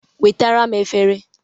Wetara m efere